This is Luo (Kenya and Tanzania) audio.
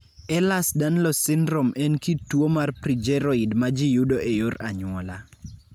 Ehlers Danlos syndrome en kit tuo mar progeroid ma ji yudo e yor anyuola.